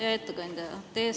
Hea ettekandja!